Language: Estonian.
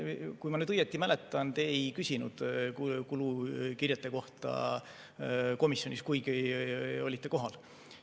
Kui ma nüüd õigesti mäletan, te ei küsinud kulukirjete kohta komisjonis, kuigi olite kohal.